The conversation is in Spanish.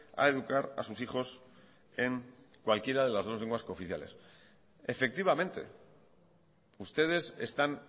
a educar a sus hijos en cualquiera de las dos lenguas cooficiales efectivamente ustedes están